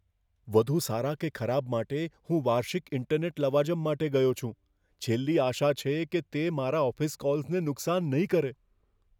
વધુ સારા કે ખરાબ માટે, હું વાર્ષિક ઇન્ટરનેટ લવાજમ માટે ગયો છું, છેલ્લી આશા છે કે તે મારા ઓફિસ કૉલ્સને નુકસાન નહીં કરે.